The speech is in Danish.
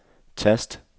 tast